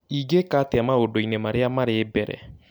ingĩka atĩa maũndũ-inĩ marĩa marĩ mbere